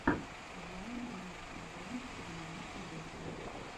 вайн мистер брент девяносто восемь